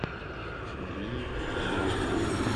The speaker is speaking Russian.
марией болдыревой